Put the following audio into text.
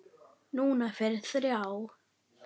Núna fyrir þrjá.